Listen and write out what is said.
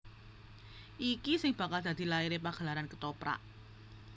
Iki sing bakal dadi laire pagelaran Kethoprak